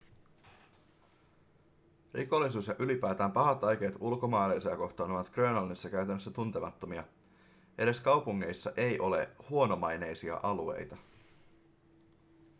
rikollisuus ja ylipäätään pahat aikeet ulkomaalaisia kohtaan ovat grönlannissa käytännössä tuntemattomia edes kaupungeissa ei ole huonomaineisia alueita